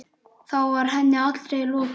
Þá var henni allri lokið.